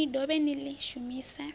ni dovhe ni ḽi shumise